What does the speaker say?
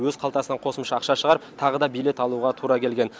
өз қалтасынан қосымша ақша шығарып тағы да билет алуға тура келген